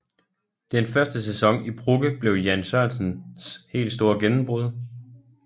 Den første sæson i Brugge blev Jan Sørensens helt store gennembrud